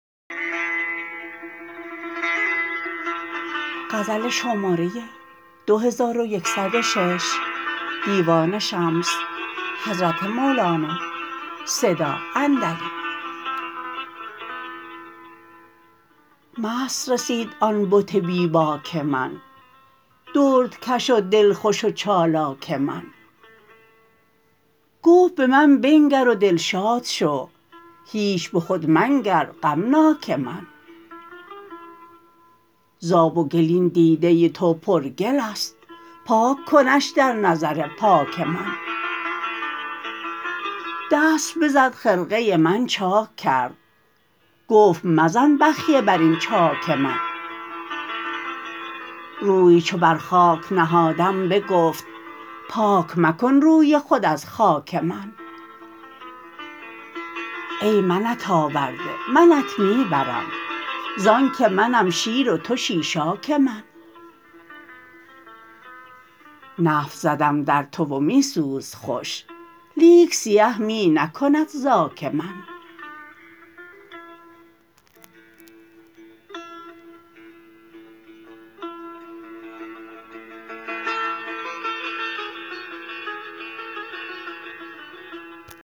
مست رسید آن بت بی باک من دردکش و دلخوش و چالاک من گفت به من بنگر و دلشاد شو هیچ به خود منگر غمناک من ز آب و گل این دیده تو پرگل است پاک کنش در نظر پاک من دست بزد خرقه من چاک کرد گفت مزن بخیه بر این چاک من روی چو بر خاک نهادم بگفت پاک مکن روی خود از خاک من ای منت آورده منت می برم ز آنک منم شیر و تو شیشاک من نفت زدم در تو و می سوز خوش لیک سیه می نکند زاک من